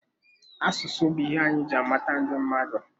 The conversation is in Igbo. Asụsụ bụ ihe anyị ji amata ndị mmadụ.